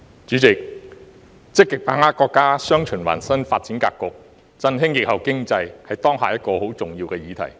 主席，"積極把握國家'雙循環'新發展格局，振興疫後經濟"，是當下一個很重要的議題。